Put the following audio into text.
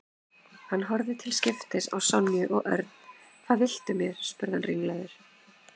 Hann horfði til skiptis á Sonju og Örn. Hvað viltu mér? spurði hann ringlaður.